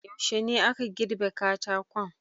Yuashe ne aka girbe katakon?